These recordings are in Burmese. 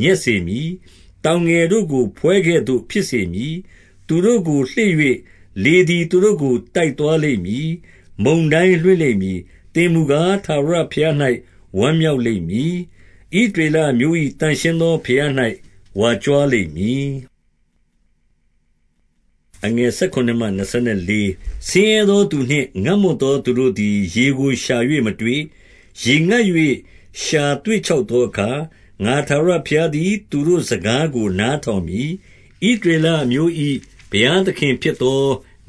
ညက်စေမည်။ တောင်ငယ်တို့ကို ဖွဲကဲ့သို့ ဖြစ်စေမည်။ သူတို့ကို လှေ့၍၊ လေသည် သူတို့ကို တိုက်သွား လိမ့်မည်။ မုန်တိုင်းလွှင့်လိမ့်မည်။ သင်မူကား ထာဝရ ဘုရား၌ ဝမ်းမြောက်လိမ့်မည်။ ဣသရေလအမျိုး၏ သန့်ရှင်းသော ဘုရား၌ ဝါကြွားလိမ့်မည်။ ဆင်းရဲသောသူနှင့် ငတ်မွတ်သော သူတို့သည် ရေကိုရှာ၍ မတွေ့၊ ရေငတ်၍ လျှာ သွေ့ခြောက်သော အခါ၊ ငါထာဝရဘုရားသည် သူတို့ စကားကို နားထောင် မည်။ ဣသရေလအမျိုး၏ ဘုရားသခင်ဖြစ်သော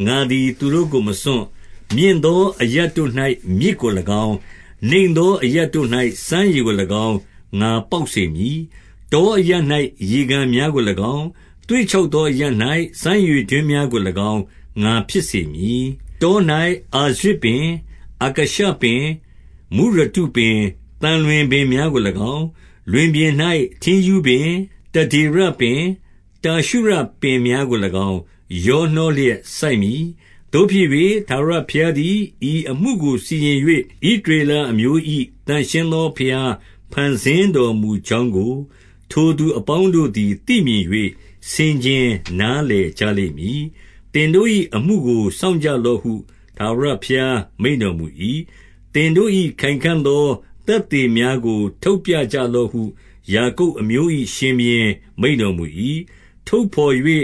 ငါသည် သူတို့ကို မစွန့်။ မြင့်သောအရပ်တို့၌ မြစ်ကို၎င်း၊ နိမ့်သော အရပ်တို့၌ စမ်းရေကို၎င်း ငါပေါက်စေမည်။ တောအရပ် ၌ ရေကန်များကို၎င်း၊ သွေ့ခြောက်သောအရပ်၌ စမ်းရေ တွင်းများကို၎င်း ငါဖြစ်စေမည်။ တော၌ အာရဇ်ပင်၊ အကာရှပင်၊ မုရတုပင်၊ သံလွင်ပင်များကို၎င်း၊ လွင်ပြင်၌ ထင်းရူးပင်၊ တဒေရ ပင်၊ တာရှုရပင်များကို၎င်း ရောနှောလျက် စိုက်မည်။ သို့ဖြစ်၍၊ ထာဝရဘုရားသည် ဤအမှုကို စီရင် ၍၊ ဣသရေလအမျိုး၏ သန့်ရှင်းသော ဘုရားဖန်ဆင်း တော်မူကြောင်းကို၊ ထိုသူအပေါင်းတို့သည် သိမြင်၍၊ ဆင်ခြင်နားလည်ကြလိမ့်မည်။ သင်တို့၏ အမှုကို စောင့်ကြလော့ဟု ထာဝရ ဘုရားမိန့်တော်မူ၏။ သင်တို့၏ခိုင်ခံ့သော သက်သေများ ကို ထုတ်ပြကြလော့ဟု ယာကုပ်အမျိုး၏ ရှင်ဘုရင် မိန့်တော်မူ၏။ ထုတ်ဘော်၍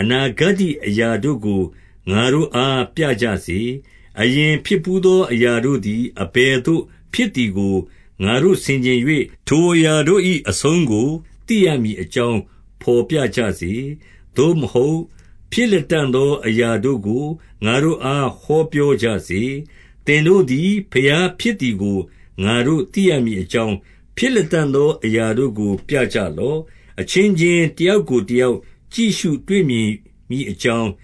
အနာဂတ္တိအရာတို့ကို ငါတို့အား ပြကြစေ။ အရင်ဖြစ်ဘူးသော အရာတို့သည် အဘယ်သို့ ဖြစ်သည်ကို ငါတို့ ဆင်ခြင်၍၊ ထိုအရာတို့၏ အဆုံးကို သိရမည်အကြောင်း ဘော်ပြကြစေ။ သို့မဟုတ်၊ ဖြစ်လတံ့ သောအရာတို့ကို ငါတို့အား ဟောပြောကြစေ။ သင်တို့သည် ဘုရားဖြစ်သည်ကို ငါတို့ သိရမည် အကြောင်း၊ ဖြစ်လတံ့သော အရာတို့ကို ပြကြလော့။ အချင်းချင်း တယောက်ကိုတယောက် ကြည့်ရှုတွေ့မြင် မည်အကြောင်း၊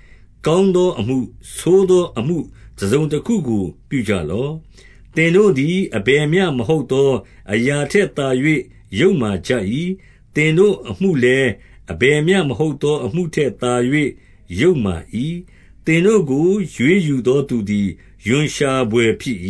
ကောင်းသောအမှု၊ ဆိုးသောအမှု တစုံ တခုကို ပြုကြလော့။ သင်တို့သည် အဘယ်မျှမဟုတ်သော အရာ ထက်သာ၍ ယုတ်မာကြ၏။ သင်တို့အမှုလည်း၊ အဘယ်မျှ မဟုတ်သော အမှုထက်သာ၍ ယုတ်မာ၏။ သင်တို့ကို ရွေးယူသော သူသည် ရွံ့ရှာဘွယ် ဖြစ်၏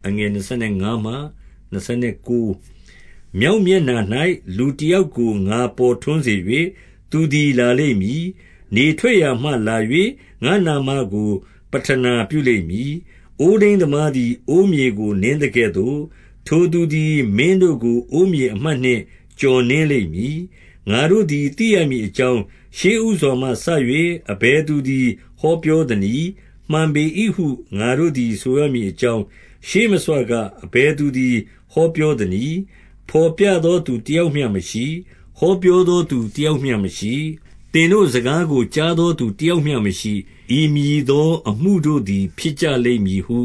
။ မြောက်မျက်နှာ၌ လူတယောက်ကို ငါပေါ်ထွန်း စေ၍၊ သူသည် လာလိမ့်မည်။ နေထွက်ရာမှလာ၍ ငါ့နာမကို ပဌနာပြုလိမ့်မည်။ အိုးထိန်းသမားသည် အိုးမြေကို နင်းသကဲ့သို့၊ ထိုသူသည် မင်းတို့ကို အိုးမြေ အမှတ်နှင့် ကျော်နင်းလိမ့်မည်။ ငါတို့သည် သိရမည်အကြောင်း၊ ရှေ့ဦးစွာမှစ၍ အဘယ်သူသည် ဟောပြောသနည်း။ မှန်ပေ၏ဟု ငါတို့ သည် ဆိုရမည်အကြောင်း၊ ရှေးမဆွက အဘယ်သူသည် ဟောပြောသနည်း။ ဘော်ပြသော သူတယောက်မျှမရှိ။ ဟောပြောသော သူတယောက်မျှမရှိ။ သင်တို့ စကားကို ကြားသောသူတယောက်မျှမရှိ။၏ ဤမည်သောအမှုတို့သည် ဖြစ်ကြလိမ့်မည်ဟု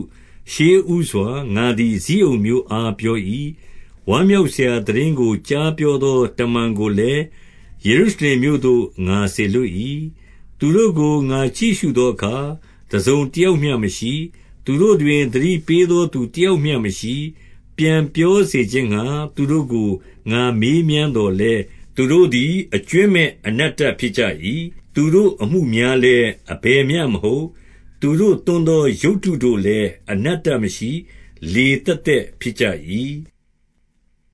ရှေးဦးစွာ ငါသည် ဇိအုန်မြို့အား ပြော၏။ ဝမ်းမြောက် စရာ သိတင်းကို ကြားပြောသော တမန်ကိုလည်း၊ ယေရု ရှလင်မြို့သို့ ငါစေလွှတ်၏။ သူတို့ကို ငါကြည့်ရှုသောအခါ၊ တစုံတယောက်မျှ မရှိ။ သူတို့တွင် သတိပေးသော သူတယောက်မျှမရှိ။ ပြန်ပြောစေခြင်းငှါ သူတို့ကို ငါမေးမြန်းသော်လည်း၊ သူတို့သည် အကြွင်းမဲ့အနတ္တဖြစ်ကြ၏။ သူတို့ အမှုများလည်း၊ အဘယ်မျှမဟုတ်။ သူတို့သွန်းသော ရုပ်တု တို့လည်း အတ္တမရှိ၊ လေသက်သက်ဖြစ်ကြ၏။